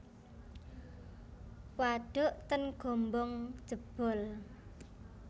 Waduk ten Gombong jebol